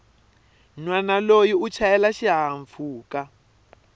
nhwana loyi u chayela xihahampfhuka